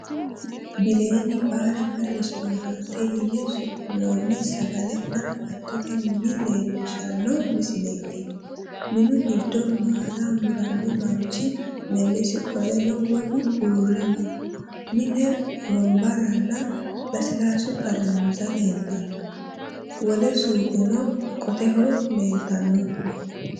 Bileenni baarenna restoorante yine su'minoonni sagalenna agattote mine leellishshanno misileeti. Minu giddo maala muranno manchi melesi qoleno wolu uurre no. Mine wonbarranna lasilaassu xarmuzza leeltanno. Wole suuqeno qoteho leeltanno.